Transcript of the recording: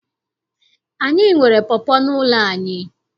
Anyị nwere pọpọ n'ụlọ anyị.